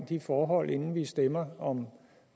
de forhold inden vi stemmer om